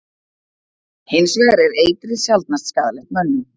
Hins vegar er eitrið sjaldnast skaðlegt mönnum.